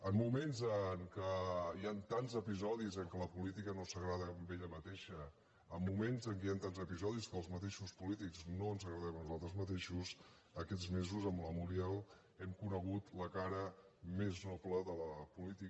en moments en què hi han tants episodis en què la política no s’agrada a ella mateixa en moments en què hi han tants episodis que els mateixos polítics no ens agradem a nosaltres mateixos aquests mesos amb la muriel hem conegut la cara més noble de la política